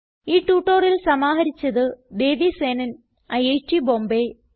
ഈ ട്യൂട്ടോറിയൽ സമാഹരിച്ചത് ദേവി സേനൻ ഐറ്റ് ബോംബേ